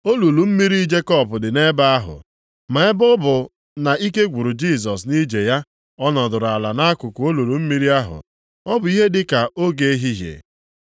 Olulu mmiri Jekọb dị nʼebe ahụ, ma ebe ọ bụ na ike gwụrụ Jisọs nʼije ya, ọ nọdụrụ ala nʼakụkụ olulu mmiri ahụ. Ọ bụ ihe dị ka oge ehihie.